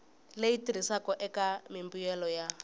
leyi tirhisiwaka eka mimbuyelo ya